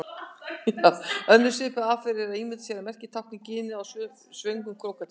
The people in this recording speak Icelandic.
Önnur svipuð aðferð er að ímynda sér að merkið tákni ginið á svöngum krókódíl.